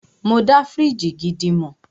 Mọ dá fíríjì gidi mọ̀.